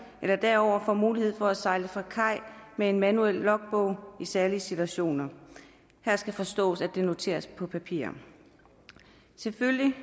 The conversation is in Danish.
eller derover får mulighed for at sejle fra kaj med en manuel logbog i særlige situationer her skal forstås at det noteres på papir selvfølgelig